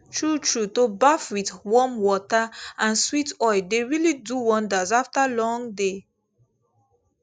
truetrue to baff with warm water and sweet oil dey really do wonders after long day